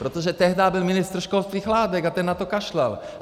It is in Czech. Protože tehdy byl ministr školství Chládek a ten na to kašlal.